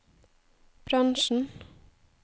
bransjen